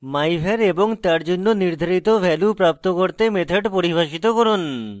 myvar এবং তার জন্য নির্ধারিত ভ্যালু প্রাপ্ত করতে methods পরিভাষিত করুন